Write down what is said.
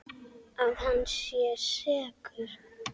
Að hann sé sekur?